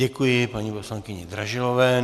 Děkuji paní poslankyni Dražilové.